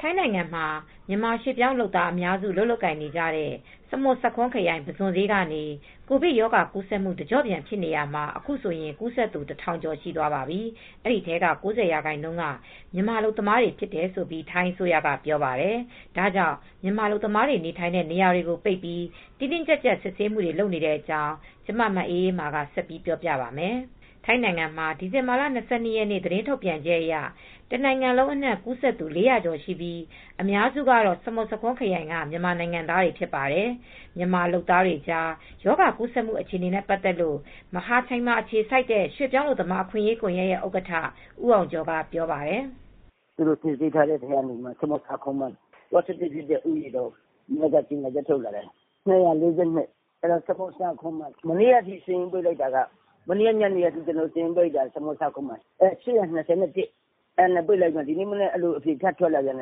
ထိုင်းနိုင်ငံမှာ မြန်မာရွှေ့ပြောင်းလုပ်သားအများစု အလုပ်လုပ်ကြတဲ့ စမွတ်ဆာခွန်းခရိုင် ပုဇွန်ဈေးကနေ ကိုဗစ်ရောဂါကူးစက်မှု တကျော့ပြန် ဖြစ်နေတာမှာ အခုဆိုရင် ကူးစက်သူ ၁,၀၀၀ ကျော်ရှိသွားပါပြီ။ အဲဒီထဲမှာ ၉၀% က မြန်မာအလုပ်သမားတွေဖြစ်တယ်လို့ ထိုင်းအစိုးရက ပြောပါတယ်။ ဒါကြောင့် မြန်မာအလုပ်သမားတွေနေထိုင်တဲ့ နေရာတွေကို ပိတ်ပြီး တင်းတင်းကြပ်ကြပ် စစ်ဆေးမှုတွေ လုပ်နေတဲ့အကြောင်း ဗွီအိုအေမြန်မာပိုင်း သတင်းထောက် မအေးအေးမာက ပြောပြပေးပါမယ်။ ထိုင်းနိုင်ငံမှာ ဒီဇင်ဘာလ ၂၂ ရက်နေ့ သတင်းထုတ်ပြန်ချက်အရ တနိုင်ငံလုံးအနှံ့ ကူးစက်သူ ၄၀၀ ကျော်ရှိပြီး အများစုကတော့ စမွတ်ဆာခွန်းခရိုင်က မြန်မာနိုင်ငံသားတွေ ဖြစ်ပါတယ်။ မြန်မာလုပ်သားတွေကြား ရောဂါကူးစက်မှု အခြေအနေနဲ့ပါတ်သက်လို့ မဟာချိုင်မှာ အခြေစိုက်တဲ့ ရွှေ့ပြောင်းအလုပ်သမားအခွင့်ရေးကွန်ယက်ရဲ့ ဥက္ကဋ္ဌ ဦးအောင်ကျော်ကပြောပါတယ်။ "စစ်ဆေးထားတဲ့အထဲကနေ ဆာမွတ်ဆာခွန်းမှာ ပေါ့စတစ်ဖြစ်တာ ထပ်တိုးလာတာက ၂၄၂ ယောက် မနေ့က ညနေထိဆိုရင် ၈၂၁ ယောက် အခု ထပ်တိုးလာတော့အဖြေထပ်ထွက်တာ ၁,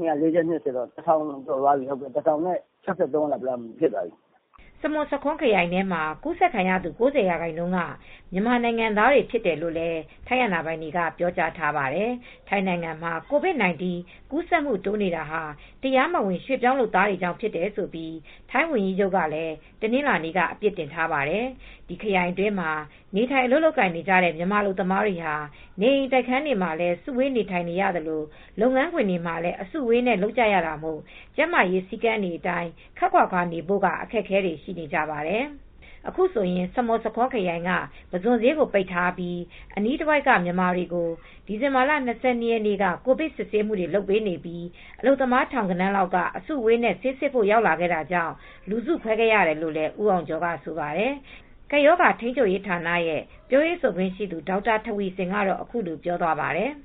၀၀၀ ကျော်သွားပြီ စမုတ်ဆာခွန်းမှာပဲ။" စမွတ်ဆာခွန်းခရိုင်ထဲမှာ ကူးစက်ခံရသူ ၉၀ ရာခိုင်နှုန်းက မြန်မာနိုင်ငံသားတွေဖြစ်တယ်လို့လည်း ထိုင်းအာဏာပိုင်တွေက ပြောကြားထားပါတယ်။ ထိုင်းနိုင်ငံတွင်း COVID 19 ကူးစက်မှုတိုးနေတာဟာ တရားမဝင် ရွှေ့ပြောင်းလုပ်သားတွေကြောင့်ဖြစ်တယ်လို့ ထိုင်းဝန်ကြီးချုပ်ကလည်း တနင်္လာနေ့က အပြစ်တင်ထားပါတယ်။ ဒီခရိုင်အတွင်းမှာ နေထိုင်အလုပ်လုပ်ကိုင်နေကြတဲ့ မြန်မာအလုပ်သမားတွေဟာ နေအိမ်တိုက်ခန်းတွေမှာလည်း စုဝေးနေထိုင်နေရသလို လုပ်ငန်းခွင်တွေမှာလည်း အစုအဝေးနဲ့ လုပ်နေကြတာမို့ ကျန်းမာရေးစည်းကမ်းတွေအတိုင်း ခပ်ခွါခွါနေဖို့က အခက်အခဲတွေ ရှိနေကြပါတယ်။ အခုဆိုရင် စမွတ်ဆာခွန်းခရိုင်က ပုဇွန်ဈေးကို ပိတ်ထားပြီး အနီးတဝိုက်က မြန်မာတွေကိုဒီဇင်ဘာလ ၂၂ ရက်နေ့က ကိုဗစ် စစ်ဆေးမှုတွေ လုပ်ပေးနေပြီး အလုပ်သမား ထောင်ဂဏန်းလောက်က အစုအဝေးနဲ့ ဆေးစစ်ဖို့ရောက်လာတာကြောင့် လူစုခွဲခဲ့ရတယ်လို့ ဦးအောင်ကျော်က ဆိုပါတယ်။ ကပ်ရောဂါထိန်းချုပ်ရေး ဌာနရဲ့ပြောရေးဆိုခွင့်ရှိသူဒေါက်တာထဝီဆင်ကတော့ အခုလိုပြောသွားပါတယ်။ "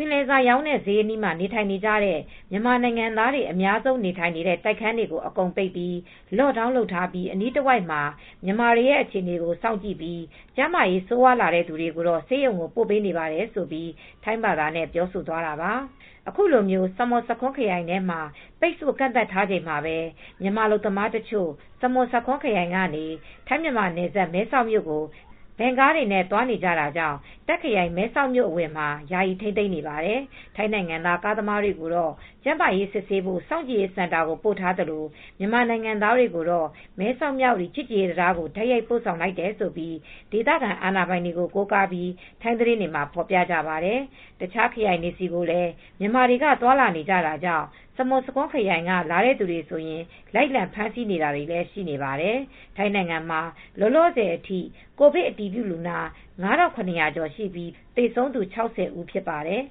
ပင်လယ်စာရောင်းတဲ့ ဈေးအနီးမှာ နေထိုင်နေတဲ့ မြန်မာနိုင်ငံသားတွေအများဆုံး နေထိုင်နေတဲ့ တိုက်ခန်းတွေကို အကုန်ပိတ်ပြီး lock down လုပ်ထားပြီး အနီးတဝိုက်မှာ မြန်မာတွေအခြေအနေကို စောင့်ကြည့်ပြီး ကျန်းမာရေးဆိုးဝါးလာတဲ့သူတွေကို ဆေးရုံကို ပို့ပေးနေပါတယ်ဆိုပြီး ထိုင်းဘာသာနဲ့ ပြောဆိုသွားတာပါ။" အခုလို စမွတ်ဆာခွန်းခရိုင်ထဲမှာ ပိတ်ဆို့ကန့်သတ်ထားချိန်မှာပဲ မြန်မာအလုပ်သမားတချို့ စမွတ်ဆာခွန်းခရိုင်ကနေ ထိုင်း မြန်မာနယ်စပ် မဲဆောက်မြို့ကိုဗင်ကားတွေနဲ့ သွားနေကြတာကြောင့် တာ့ခ်ခရိုင်မဲဆောက်အဝင်မှာ ယာယီ ထိန်းသိမ်းနေပါတယ်။ ထိုင်းနိုင်ငံသား ကားသမားတွေကိုတော့ ကျန်းမာရေးစစ်ဆေးဖို့ စောင့်ကြည့်ရေးစင်တာမှာ ပို့ထားသလို မြန်မာနိုင်ငံသားတွေကိုတော့ မဲဆောက်မြဝတီချစ်ကြည်ရေးတံတားကို တိုက်ရိုက်ပို့ဆောင်လိုက်တယ်လို့ ဒေသခံအာဏာပိုင်တွေ ကိုးကားပြီး ထိုင်းသတင်းတွေမှာ ဖော်ပြကြပါတယ်။ တခြားခရိုင်တွေဆီကိုလည်း မြန်မာတွေက သွားလာနေတာကြောင့် စမွတ်ဆာခွန်းခရိုင်က လာတဲ့သူတွေဆိုရင် လိုက်လံဖမ်းဆီးတာတွေလည်း ရှိနေပါတယ်။ ထိုင်းနိုင်ငံမှာ လောလောဆယ်အထိ ကိုဗစ် အတည်ပြုလူနာ ၅,၇၀၀ ကျော်ရှိပြီး သေဆုံးသူ ၆၀ ဖြစ်ပါတယ်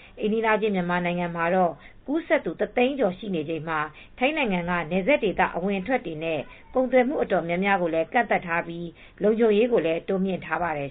။ အိမ်နီးချင်းမြန်မာနိုင်ငံမှာ ရောဂါကူးစက်သူ ၁၀၀,၀၀၀ ကျော်ရှိနေချိန်မှာ ထိုင်းနိုင်ငံက နယ်စပ်ဒေသ အဝင်အထွက်တွေနဲ့ ကုန်သွယ်မှုတွေ တော်တော်များများကိုလည်း ကန့်သတ်ထားပြီး လုံခြုံရေးကိုလည်း တိုးမြှင့်ထားပါတယ်